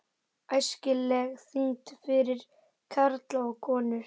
ÆSKILEG ÞYNGD FYRIR KARLA OG KONUR